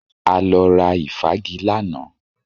A lọ ra ìfági lánàá